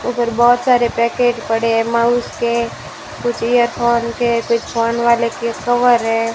उधर बहोत सारे पैकेट पड़े है माउस के कुछ एयरफोन के कुछ फोन वाले के कवर है।